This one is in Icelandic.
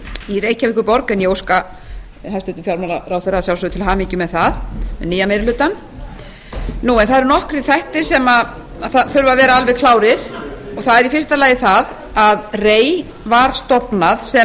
í reykjavíkurborg en ég óska hæstvirtum fjármálaráðherra að sjálfsögðu til hamingju með það með nýja meiri hlutann en það eru nokkrir þættir sem þurfa að vera alveg klárir og það er í fyrsta lagi það að rei var stofnað sem